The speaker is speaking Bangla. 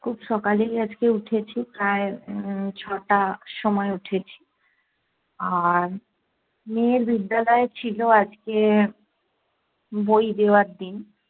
খুব সকালেই আজকে উঠেছি, প্রায় উম ছ'টার সময় উঠেছি। আর মেয়ের বিদ্যালয়ে ছিলো আজকে বই দেওয়ার দিন।